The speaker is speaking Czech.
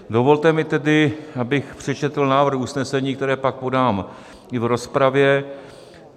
Dovolte mi tedy, abych přečetl návrh usnesení, které pak podám i v rozpravě.